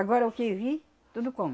Agora o que vir, tudo come.